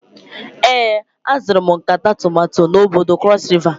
Ee, azụrụ m nkata tomato n'bodo cross river.